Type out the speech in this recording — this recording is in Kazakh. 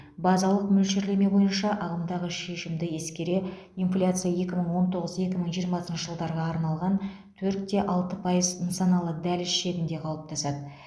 базалық мөлшерлеме бойынша ағымдағы шешімді ескере инфляция екі мың он тоғыз екі мың жиырмасыншы жылдарға арналған төрт те алты пайыз нысаналы дәліз шегінде қалыптасады